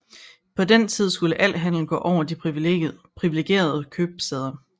På den tid skulle al handel gå over de privilegerede købstæder